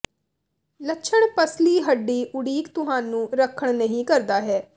ਲੱਛਣ ਪੱਸਲੀ ਹੱਡੀ ਉਡੀਕ ਤੁਹਾਨੂੰ ਰੱਖਣ ਨਹੀ ਕਰਦਾ ਹੈ